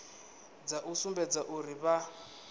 dza u sumbedza uri vha